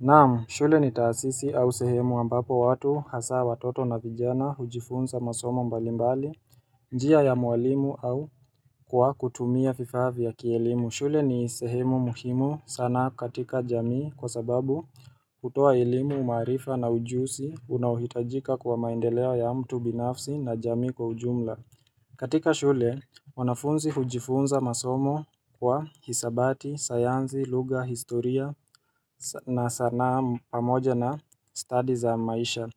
Naam, shule ni taasisi au sehemu ambapo watu hasa watoto na vijana hujifunza masomo mbalimbali, njia ya mwalimu au kwa kutumia vifaa vya kielimu. Shule ni sehemu muhimu sana katika jamii kwa sababu kutoa elimu maarifa na ujuzi unaohitajika kwa maendelea ya mtu binafsi na jamii kwa ujumla. Katika shule wanafunzi hujifunza masomo kwa hisabati, sayanzs, lugha, historia na sanaa pamoja na study za maisha